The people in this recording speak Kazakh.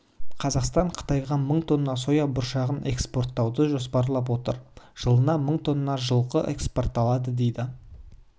қазақстан қытайға мың тонна соя бұршағын экспорттауды жоспарлап отыр жылына мың тонна жылқы экспортталады дейді